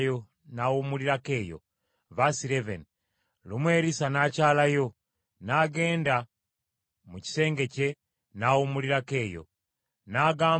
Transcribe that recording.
N’agamba omuweereza we Gekazi nti, “Yita Omusunammu oyo.” N’amuyita, n’ajja n’ayimirira mu maaso ge.